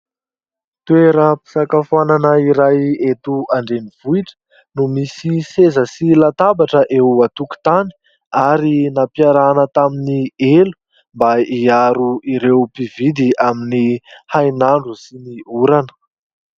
Toeram-pisakafoanana iray eto andrenivohitra no misy seza sy latabatra eo an-tokontany ary nampiarahana tamin'ny elo mba hiaro ireo mpividy amin'ny hainandro sy ny orana.